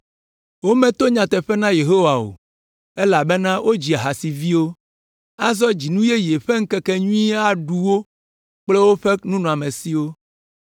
Wometo nyateƒe na Yehowa o, elabena wodzi ahasiviwo. Azɔ dzinu yeye ƒe ŋkekenyui aɖu wo kple woƒe nunɔamesiwo.